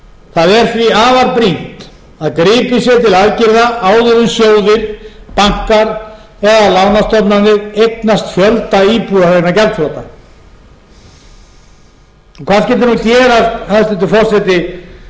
það er því afar brýnt að gripið sé til aðgerða áður en sjóðir bankar eða lánastofnanir eignast fjölda íbúða vegna gjaldþrota hvað skyldi nú gerast hæstvirtur forseti ef menn